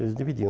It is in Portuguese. Eles dividiam.